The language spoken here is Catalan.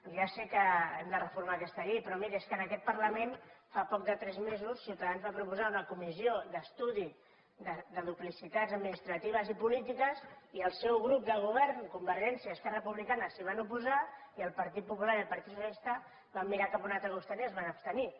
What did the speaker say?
ja sé que hem de reformar aquesta llei però miri és que en aquest parlament fa poc més de tres mesos que ciutadans va proposar una comissió d’estudi de duplicitats administratives i polítiques i el seu grup de govern convergència i esquerra republicana s’hi van oposar i el partit popular i el partit socialista van mirar cap a un altre costat i es van abstenir